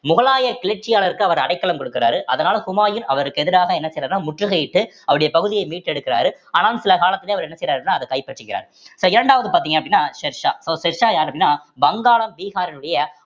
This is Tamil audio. முகலாய கிளர்ச்சியாளருக்கு அவர் அடைக்கலம் கொடுக்கிறாரு அதனால ஹுமாயூன் அவருக்கு எதிராக என்ன செய்றார்ன்னா முற்றுகையிட்டு அவருடைய பகுதியே மீட்டெடுக்கிறாரு ஆனால் சில காலத்திலே அவர் என்ன செய்யறாருன்னா அத கைப்பற்றுகிறார் so இரண்டாவது பார்த்தீங்க அப்படின்னா ஷெர்ஷா ஷெர்ஷா யாரு அப்படின்னா வங்காளம் பீகாரினுடைய